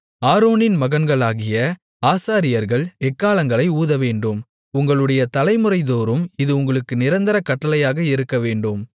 ஆரோனின் மகன்களாகிய ஆசாரியர்கள் எக்காளங்களை ஊதவேண்டும் உங்களுடைய தலைமுறைதோறும் இது உங்களுக்கு நிரந்தர கட்டளையாக இருக்கவேண்டும்